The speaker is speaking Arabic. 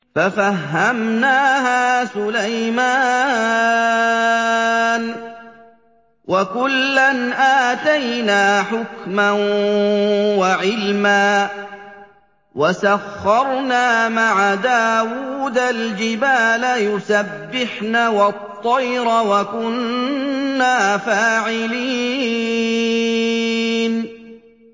فَفَهَّمْنَاهَا سُلَيْمَانَ ۚ وَكُلًّا آتَيْنَا حُكْمًا وَعِلْمًا ۚ وَسَخَّرْنَا مَعَ دَاوُودَ الْجِبَالَ يُسَبِّحْنَ وَالطَّيْرَ ۚ وَكُنَّا فَاعِلِينَ